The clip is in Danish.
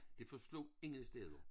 Det forslog ingen steder